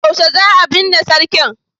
yaushe za a binne sarkin?